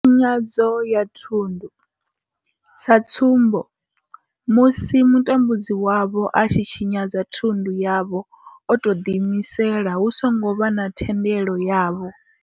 Tshinyadzo ya thundu sa tsumbo, musi mutambudzi wavho a tshi tshinyadza thundu yavho o tou ḓi imisela hu songo vha na thendelo yavho.